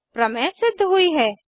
प्रमेय सिद्ध हुई है